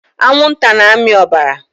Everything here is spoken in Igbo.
Anwụnta na-amị ọbara.